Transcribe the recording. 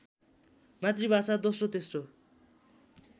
मातृभाषा दोस्रो तेश्रो